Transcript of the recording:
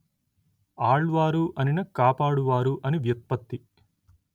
ఆళ్వారు అనిన కాపాడువారు అని వ్యుత్పత్తి